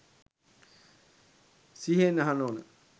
සිහියෙන් අහන්න ඕන.